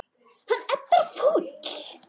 Hann er bara fúll.